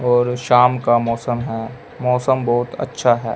और शाम का मौसम है मौसम बहोत अच्छा है।